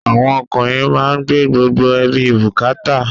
Àwọn ọkùnrin má ń gbé gbogbo ẹbí bukata